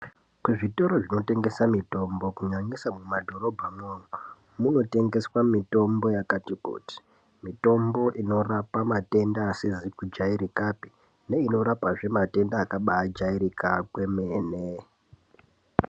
Kuzvitoro zvinotengeswa mitombo kunyanyisa mumadhorobha munomu munotengeswa mitombo yakati kuti mitombo inorapa matenda asizi kujairikapi neinorapa matenda akabajairika kwemene.